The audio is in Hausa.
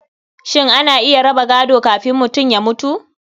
Shin ana iya raba gado kafin mutum ya mutu?